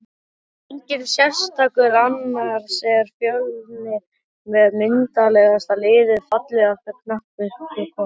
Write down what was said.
Enginn sérstakur annars er fjölnir með myndarlegasta liðið Fallegasta knattspyrnukonan?